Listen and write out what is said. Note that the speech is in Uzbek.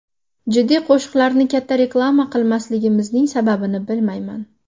Jiddiy qo‘shiqlarni katta reklama qilmasligimizning sababini bilmayman.